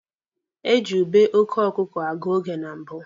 Eji ube oke ọkụkụ agụ oge na mbụ.